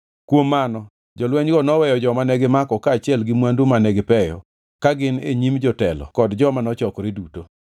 Kuom mano, jolwenygi noweyo joma negimako kaachiel gi mwandu mane gipeyo ka gin e nyim jotelo kod joma nochokore duto.